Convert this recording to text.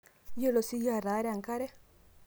iyiolo siiyie ataara enkare?